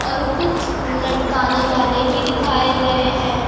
और कुछ लटकाने वाले भी दिखाए गए हैं।